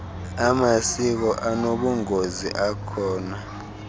amasiko anobungozi akhona